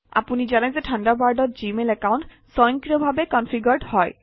আপুনি জানে যে থাণ্ডাৰবাৰ্ডত জিমেইল একাউণ্ট স্বয়ংক্ৰিয়ভাৱে কনফিগাৰড্ হয়